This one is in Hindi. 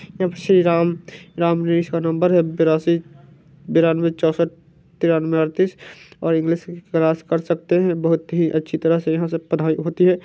अब श्री राम राम नरेश का नम्बर है बेरसी बेरानवे चौंसठ तेरानवे अड़तीस और इंग्लिग की क्लास कर सकते हैं। बोहोत ही अच्छी तरह से यहां सब पढ़ाई होती है।